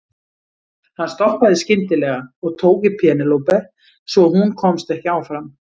Hann stoppaði skyndilega og tók í Penélope svo hún komst ekki áfram.